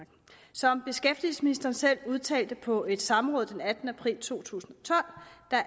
som beskæftigelsesministeren selv udtalte på et samråd den attende april to tusind